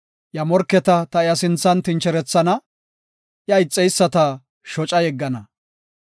Iya morketa ta iya sinthan tincherethana; iya ixeyisata shoca yeggana.